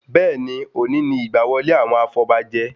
Bẹ́ẹ̀ni, òní ni ìgbà wọlé àwọn afọbajẹ